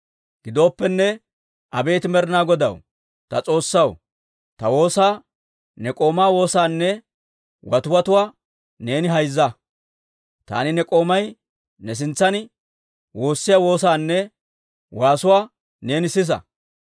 Gidooppenne, abeet Med'inaa Godaw, ta S'oossaw, ta woosaa, ne k'oomaa woosaanne watiwatuwaa neeni hayzza. Taani ne k'oomay ne sintsan woossiyaa woosaanne waasuwaa neeni sisa.